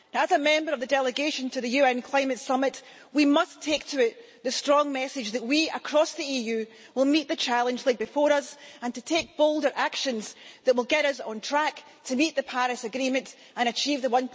As a member of the delegation to the UN Climate Summit, we must take to it the strong message that we, across the EU, will meet the challenge laid before us and take bolder actions that will get us on track to meet the Paris Agreement and achieve the